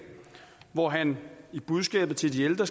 hvor han skriver til de ældre